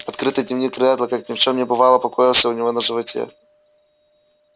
открытый дневник реддла как ни в чём не бывало покоился у него на животе